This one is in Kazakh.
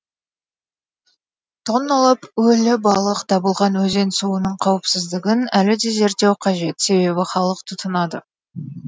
тонналап өлі балық табылған өзен суының қауіпсіздігін әлі де зерттеу қажет себебі халық тұтынады